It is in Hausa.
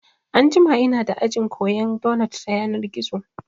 Anjima inada aji koyan donot ta yanar gizo